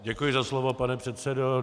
Děkuji za slovo, pane předsedo.